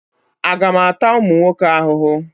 Aga m ata ụmụ nwoke ahụhụ?